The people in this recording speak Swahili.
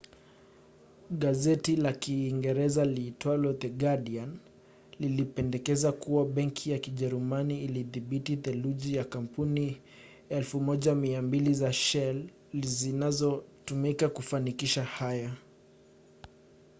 gazeti la uingereza liitwalo the guardian lilipendekeza kuwa benki ya kijerumani ilidhibiti theluthi ya kampuni 1200 za shell zinazotumika kufanikisha haya